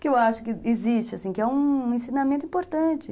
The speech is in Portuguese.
Que eu acho que existe, assim, que é um ensinamento importante.